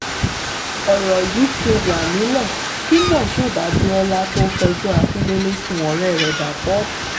ọ̀rọ̀ yìí ti wà nílẹ̀ kí moshood abiola tóó fẹjọ́ akindélé sun ọ̀rẹ́ rẹ